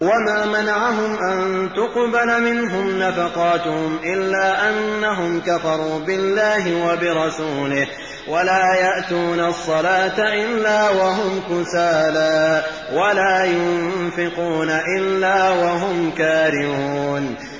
وَمَا مَنَعَهُمْ أَن تُقْبَلَ مِنْهُمْ نَفَقَاتُهُمْ إِلَّا أَنَّهُمْ كَفَرُوا بِاللَّهِ وَبِرَسُولِهِ وَلَا يَأْتُونَ الصَّلَاةَ إِلَّا وَهُمْ كُسَالَىٰ وَلَا يُنفِقُونَ إِلَّا وَهُمْ كَارِهُونَ